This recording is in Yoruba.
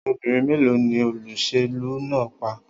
Obìnrin mélòó ni olóṣèlú náà pa?